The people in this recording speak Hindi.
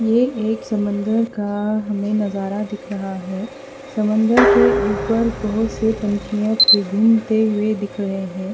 ये एक समंदर का हमें नजारा दिख रहा है समंदर के ऊपर बोहोत से पंछियों के घूमते हुए दिख रहे हैं।